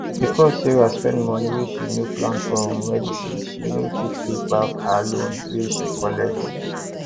because say sarah spend moni wey she no plan for medicine she no fit pay back her loan wey she collect